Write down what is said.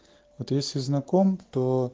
вот если знаком то